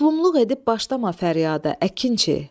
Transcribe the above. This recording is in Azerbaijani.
Məzlumluq edib başlama fəryada, əkinçi.